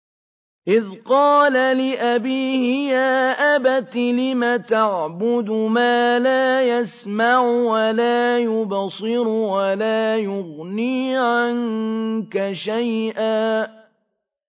إِذْ قَالَ لِأَبِيهِ يَا أَبَتِ لِمَ تَعْبُدُ مَا لَا يَسْمَعُ وَلَا يُبْصِرُ وَلَا يُغْنِي عَنكَ شَيْئًا